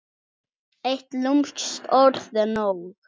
Eitt lúmskt orð er nóg.